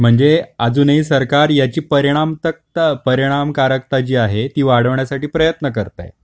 म्हणजे अजूनही सरकार याची परिणाम तख्त परिणामकारकता जी आहे ती वाढवण्यासाठी प्रयत्न करताय.